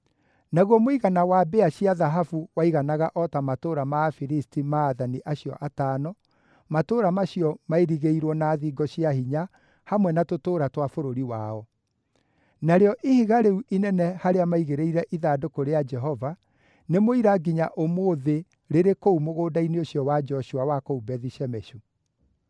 Naguo mũigana wa mbĩa cia thahabu waiganaga o ta matũũra ma Afilisti ma aathani acio atano, matũũra macio maairigĩirwo na thingo cia hinya hamwe na tũtũũra twa bũrũri wao. Narĩo ihiga rĩu inene harĩa maigĩrĩire ithandũkũ rĩa Jehova, nĩ mũira nginya ũmũthĩ rĩrĩ kũu mũgũnda-inĩ ũcio wa Joshua wa kũu Bethi-Shemeshu.